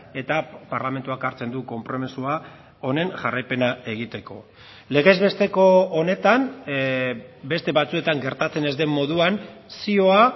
eta parlamentuak hartzen du konpromisoa honen jarraipena egiteko legez besteko honetan beste batzuetan gertatzen ez den moduan zioa